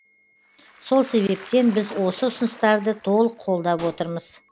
сол себептен біз осы ұсыныстарды толық қолдап отырмыз